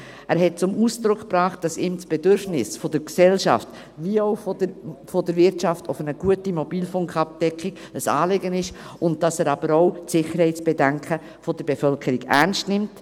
Er hat zum Ausdruck gebracht, dass ihm das Bedürfnis der Gesellschaft wie auch der Wirtschaft nach einer guten Mobilfunkabdeckung ein Anliegen ist, dass er aber auch die Sicherheitsbedenken der Bevölkerung ernst nimmt.